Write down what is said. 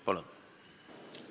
Palun!